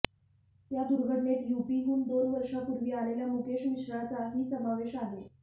या दुर्घटनेत यूपीहून दोन वर्षापूर्वी आलेल्या मुकेश मिश्राचा ही समावेश आहे